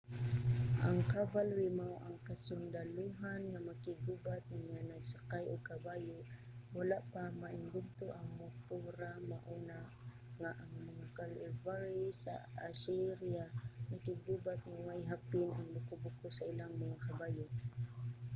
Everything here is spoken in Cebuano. ang cavalry mao ang kasundalohan nga makig-gubat nga nagsakay og kabayo. wala pa maimbento ang montura mao na nga ang mga cavalry sa assyria nakiggubat nga way hapin ang buko-buko sa ilang mga kabayo